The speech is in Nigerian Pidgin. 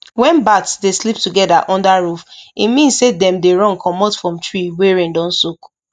when bats dey sleep together under roof e mean say dem dey run comot from tree wey rain don soak